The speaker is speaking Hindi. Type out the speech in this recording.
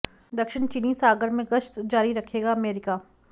दक्षिण चीनी सागर में गश्त जारी रखेगा अमेरिका